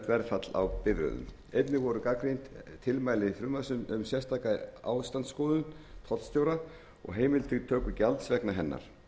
verðfall á bifreiðum einnig voru gagnrýnd tilmæli frumvarpsins um sérstaka ástandsskoðun tollstjóra og heimild til töku gjalds vegna hennar